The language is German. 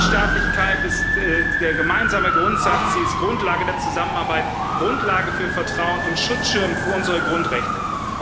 Die Rechtsstaatlichkeit ist der gemeinsame Grundsatz, ist Grundlage der Zusammenarbeit, Grundlage für Vertrauen und Schutzschirm für unsere Grundrechte.